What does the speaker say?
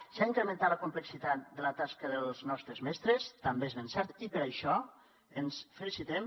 s’ha incrementat la complexitat de la tasca dels nostres mestres també és ben cert i per això ens felicitem